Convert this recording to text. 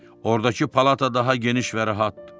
Ordakı palata daha geniş və rahatdır.